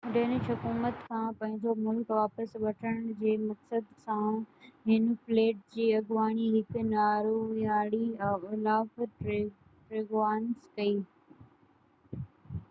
Danish حڪومت کان پنهنجو ملڪ واپس وٺڻ جي مقصد سان هن فليٽ جي اڳواڻي هڪ نارويائي اولاف ٽريگوانس ڪئي